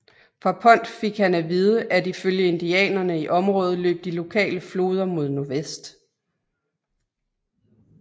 Fra Pond fik han at vide at i følge indianerne i området løb de lokale floder mod nordvest